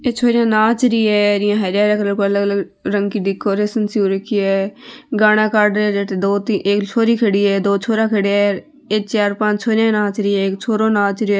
ये छोरिया नाचरी हैं हरे हरे कलर की अलग अलग रंग की डेकोरेसन हो रखी है गाना काड रा है अठ एक छोरी खड़ी है दो छोरा खड़े है चार पांच छोरी नाच रहे है एक छोरा नाच रहे है।